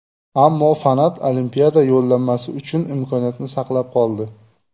Ammo Fanat Olimpiada yo‘llanmasi uchun imkoniyatni saqlab qoldi.